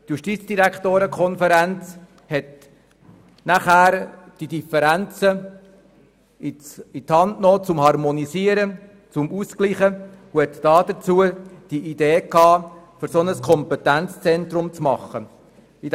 Die Justizdirektorenkonferenz hat es an die Hand genommen, die Differenzen zu harmonisieren und hatte deshalb die Idee, ein solches Kompetenzzentrum auf die Beine zu stellen.